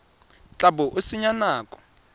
tla bo o senya nako